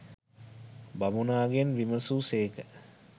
බමුණාගෙන් විමසූ සේක.